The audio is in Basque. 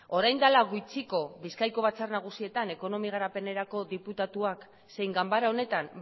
orain dela gutxiko bizkaiko batzar nagusietan ekonomia garapenerako diputatuak zein ganbara honetan